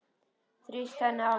Þrýsti henni að mér.